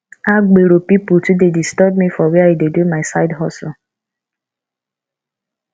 agbero pipu too dey disturb me for where i dey do my side hustle